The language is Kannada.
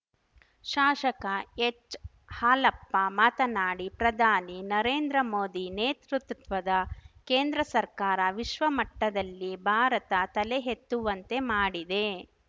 ಶಾಸಕ ಎಚ್‌ಹಾಲಪ್ಪ ಮಾತನಾಡಿ ಪ್ರಧಾನಿ ನರೇಂದ್ರ ಮೋದಿ ನೇತೃತ್ವದ ಕೇಂದ್ರ ಸರ್ಕಾರ ವಿಶ್ವಮಟ್ಟದಲ್ಲಿ ಭಾರತ ತಲೆ ಎತ್ತುವಂತೆ ಮಾಡಿದೆ